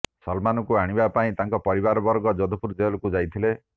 ସଲ୍ମାନଙ୍କୁ ଆଣିବା ପାଇଁ ତାଙ୍କ ପରିବାରବର୍ଗ ଯୋଧପୁର ଜେଲକୁ ଯାଇଥିଲେ